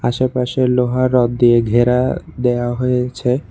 আশেপাশে লোহা রড দিয়ে ঘেরা দেওয়া হয়েছে।